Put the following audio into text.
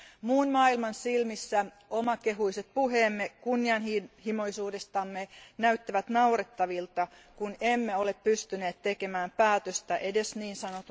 Muun maailman silmissä omakehuiset puheemme kunnianhimoisuudestamme näyttävät naurettavilta, kun emme ole pystyneet tekemään päätöstä edes ns.